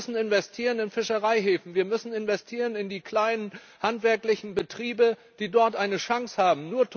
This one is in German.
Wir müssen investieren in Fischereihäfen. Wir müssen investieren in die kleinen handwerklichen Betriebe, die dort eine Chance haben.